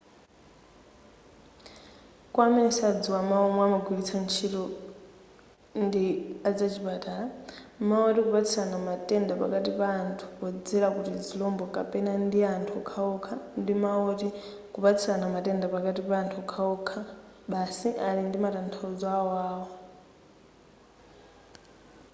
kwa amene sadziwa mawu omwe amagwiritsa ntchito ndi azachipatala mawu oti kupatsirana matenda pakati pa anthu podzera ku tizirombo kapena ndi anthu okhaokha ndi mawu woti kupatsirana matenda pakati pa anthu okhaokha basi ali ndi matanthauzo awoawo